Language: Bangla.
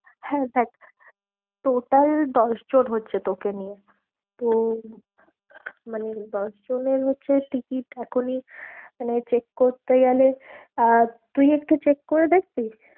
হ্যাঁ, দেখ total দশজন হচ্ছে তোকে নিয়ে তো মানে দশজনের হচ্ছে ticket এখনই মানে check করতে গেলে আহ তুই একটু check করে দেখবি?